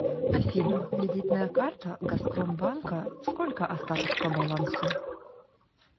афина кредитная карта газпром банка сколько остаток по балансу